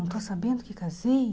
Não estou sabendo que casei.